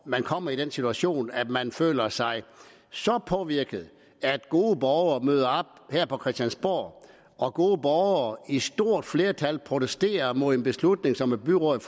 man kommer i den situation at man føler sig så påvirket at gode borgere møder op her på christiansborg og gode borgere i et stort flertal protesterer mod en beslutning som et byråd